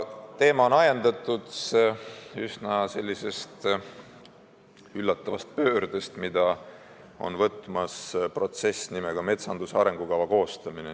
Teema on ajendatud üsna üllatavast pöördest, mida on võtmas protsess nimega metsanduse arengukava koostamine.